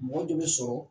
Mɔgɔ de bɛ sɔrɔ